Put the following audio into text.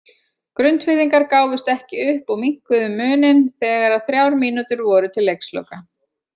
Grundfirðingar gáfust ekki upp og minnkuðu muninn þegar að þrjár mínútur voru til leiksloka.